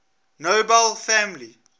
nobel family